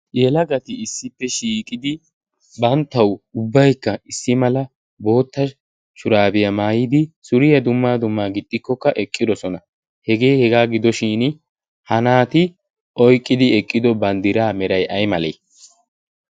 yelagati issippe shiiqidi banttawu ubbaykka issi mala bootta shuraabiyaa maayidi suriyaa dummaa dummaa gixxikkokka eqqidosona. hegee hegaa gidoshin hanaati oiqqidi eqqido banddiraa meray ay malee?